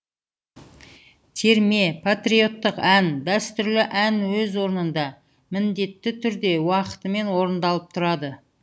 терме патриоттық ән дәстүрлі ән өз орнында міндетті түрде уақытымен орындалып тұрады